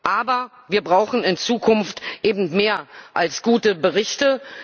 Aber wir brauchen in Zukunft eben mehr als gute Berichte.